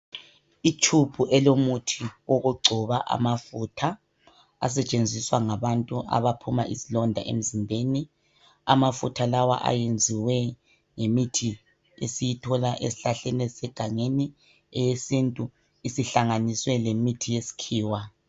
I tube elomuthi wokugcoba amafutha asetshenziswa ngabantu angaphuma izilonda emzimbeni. Amafutha lawa ayenziwe ngemithi esiyithola ezihlahleni ezisegangeni eyesintu isihlanganiswe lemithi yesikhiwa.